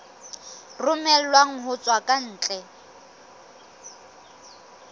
romellwang ho tswa ka ntle